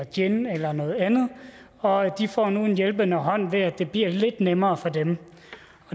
gin eller noget andet og de får nu en hjælpende hånd ved at det bliver lidt nemmere for dem